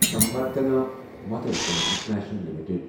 Samvardhana Motherson international limited